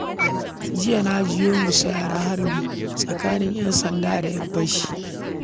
Jiya na jiyo musayar harbi tsakanin 'Yansanda da 'yan fashi